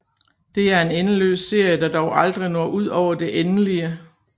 Det er en endeløs serie der dog aldrig når ud over det endelige